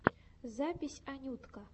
запись анютка